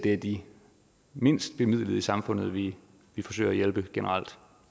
er de mindst bemidlede i samfundet vi forsøger at hjælpe generelt